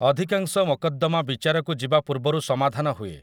ଅଧିକାଂଶ ମକଦ୍ଦମା ବିଚାରକୁ ଯିବା ପୂର୍ବରୁ ସମାଧାନ ହୁଏ ।